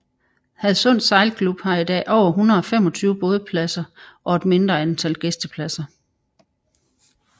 Hadsund Sejlklub har i dag over 125 bådpladser og et mindre antal gæstepladser